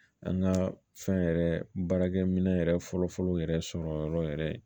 An ka fɛn yɛrɛ baarakɛminɛn yɛrɛ fɔlɔ fɔlɔ yɛrɛ sɔrɔ yɔrɔ yɛrɛ